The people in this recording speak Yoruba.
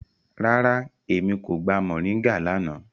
Rárá, Emi ko gba mọringa lana.